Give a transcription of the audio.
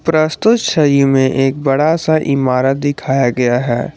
प्रस्तुत छवि में एक बड़ा सा इमारत दिखाया गया है।